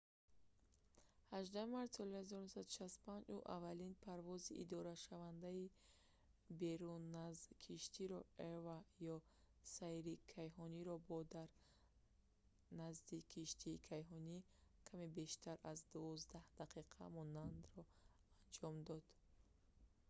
18 марти соли 1965 ӯ аввалин парвози идорашавандаи беруназкиштиро eva ё сайри кайҳониро бо дар назди киштии кайҳонӣ каме бештар аз дувоздаҳ дақиқа монданро анҷом дод